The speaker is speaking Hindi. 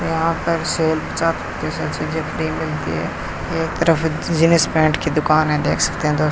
यहां पर मिलती है एक तरफ जींस पैंट की दुकान है देख सकते है दो --